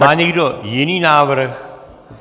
Má někdo jiný návrh?